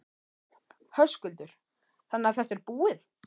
Höskuldur: Þannig að þetta er búið?